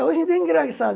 Hoje em dia é engraçado.